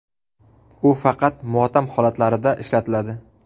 U faqat motam holatlarida ishlatiladi.